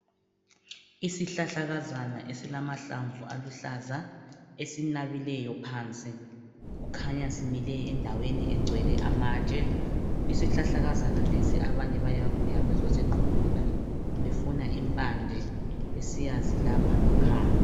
Isihlahlakazana esilamahlamvu aluhlaza, esinabileyo phansi. Kukhanya simile endaweni egcwele amatshe. Isihlahlakazana lesi abanye bayabuya bezosiquphuna befuna impande, besiyazilapha ngkhaya.